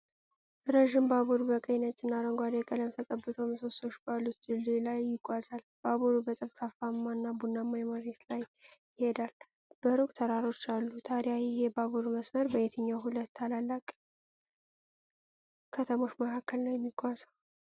ረዥም ባቡር በቀይ፣ ነጭና አረንጓዴ ቀለም ተቀብቶ ምሰሶዎች ባሉት ድልድይ ላይ ይጓዛል። ባቡሩ በጠፍጣፋና ቡናማ መሬት ላይ ይሄዳል፤ በሩቅ ተራሮች አሉ። ታዲያ ይህ የባቡር መስመር በየትኞቹ ሁለት ታላላቅ ከተሞች መካከል ነው የሚጓዘው?